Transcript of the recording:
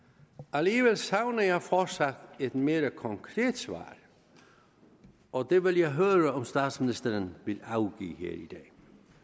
alligevel savner jeg fortsat et mere konkret svar og det vil jeg høre om statsministeren vil afgive her i dag